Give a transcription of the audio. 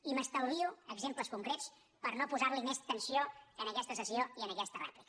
i m’estalvio exemples concrets per no posar més tensió en aquesta sessió i en aquesta rèplica